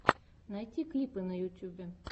найти клипы на ютьюбе